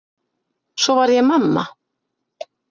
Svo varð ég mamma.